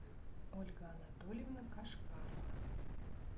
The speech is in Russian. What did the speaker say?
ольга анатольевна кашкарова